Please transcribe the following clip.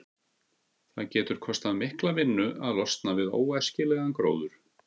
Það getur kostað mikla vinnu að losna við óæskilegan gróður.